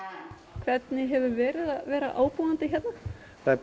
hvernig hefur verið að vera ábúandi hérna það er búið